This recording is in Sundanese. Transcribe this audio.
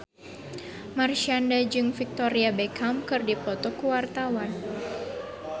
Marshanda jeung Victoria Beckham keur dipoto ku wartawan